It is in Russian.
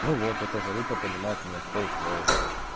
ну вот это залупа понимает меня с полуслова